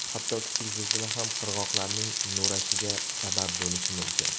Hatto kichik zilzila ham qirg‘oqlarning nurashiga sabab bo‘lishi mumkin.